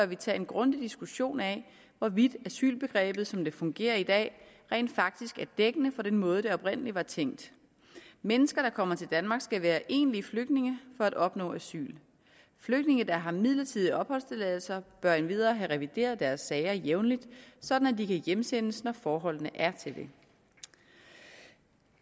vi tage en grundig diskussion af hvorvidt asylbegrebet som det fungerer i dag rent faktisk er dækkende for den måde hvorpå det oprindelig var tænkt mennesker der kommer til danmark skal være egentlige flygtninge for at opnå asyl flygtninge der har midlertidige opholdstilladelser bør endvidere have revideret deres sager jævnligt sådan at de kan hjemsendes når forholdene er til det